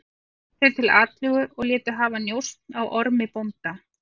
Bjuggust þeir til atlögu og létu hafa njósn á Ormi bónda.